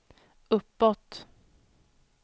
uppåt